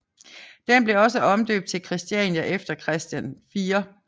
Den blev også omdøbt til Christiania efter Christian 4